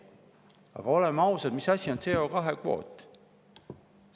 Aga oleme ausad, mis asi on CO2-kvoot?